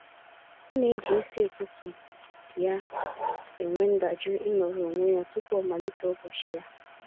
Ọ na-eji isi ụtụtụ ya enwe ndajụ ịnọrọ onwe ya tụpụ ọ malite ụbọchị ya.